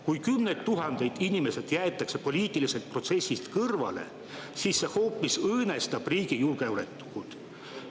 Kui kümned tuhanded inimesed jäetakse poliitilisest protsessist kõrvale, siis see hoopis õõnestab riigi julgeolekut.